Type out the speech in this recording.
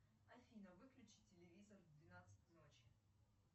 афина выключи телевизор в двенадцать ночи